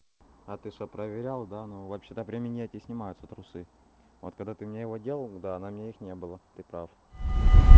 а ты что проверял да ну вообще-то при минете снимаются трусы вот когда ты мне его делал да на мне их не было ты прав